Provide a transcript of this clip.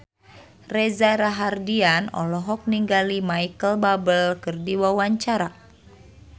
Reza Rahardian olohok ningali Micheal Bubble keur diwawancara